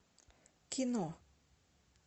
кино